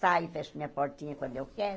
Saio, fecho minha portinha quando eu quero,